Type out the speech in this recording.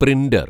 printer‍